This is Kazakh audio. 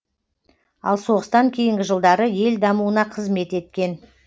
ал соғыстан кейінгі жылдары ел дамуына қызмет еткен